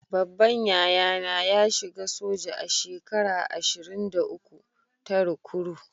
Babban yaya na ya shiga soja a shekara ashirin-da- uku ta rikuru.